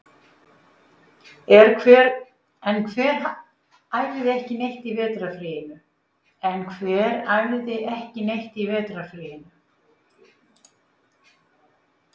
En hver æfði ekki neitt í vetrarfríinu?